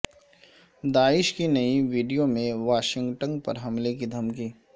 داعش کی نئی ویڈیو میں واشنگٹن پر حملے کی دھمکی